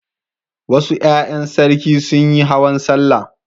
Wasu ƴaƴan sarki sun yi hawan sallah.